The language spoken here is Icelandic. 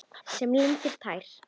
Sem lindin tær.